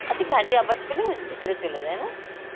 আচ্ছা গাড়ির আওয়াজ পেলে ওর ভিতরে চলে যায়, না?